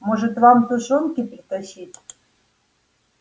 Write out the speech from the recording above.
может вам тушёнки притащить